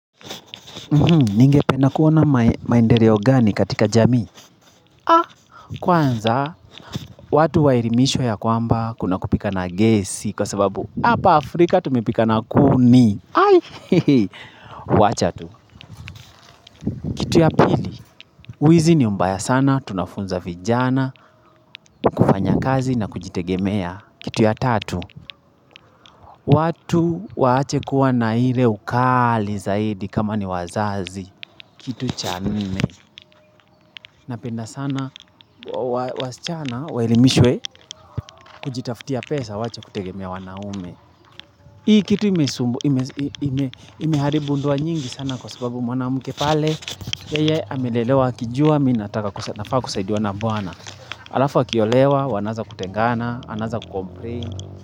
Ningependa kuona maendeleo gani katika jamii? Kwanza, watu waelimishwa ya kwamba kuna kupika na gesi kwa sababu Hapa Afrika tumepika na kuni aii hehe Wacha tu Kitu ya pili Wizi ni mbaya sana, tunafunza vijana, kufanya kazi na kujitegemea Kitu ya tatu watu waache kuwa na ile ukali zaidi kama ni wazazi Kitu cha nne Napenda sana wasichana waelimishwe kujitaftia pesa waache kutegemea wanaume. Hii kitu imeharibu ndoa nyingi sana kwa sababu mwanamke pale. Yeye amelelewa akijua mi nataka nafaa kusaidiwa na bwana. Alafu akiolewa wanaanza kutengana, anaanza kucomplain.